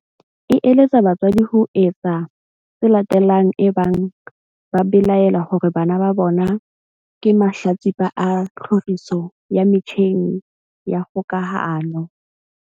e eletsa batswadi ho etsa tse latelang ebang ba belaela hore bana ba bona ke mahlatsipa a tlhoriso ya metjheng ya kgokahano.